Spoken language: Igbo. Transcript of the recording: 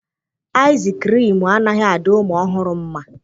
Aịzị kriimu anaghị adị ụmụ ọhụrụ mma.